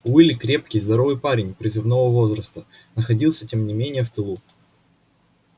уилли крепкий здоровый парень призывного возраста находился тем не менее в тылу